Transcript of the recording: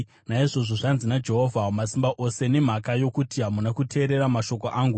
Naizvozvo zvanzi naJehovha Wamasimba Ose: “Nemhaka yokuti hamuna kuteerera mashoko angu,